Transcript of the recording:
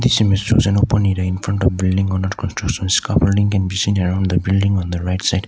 open in front of building on the construction a building can be seen around the building on the right side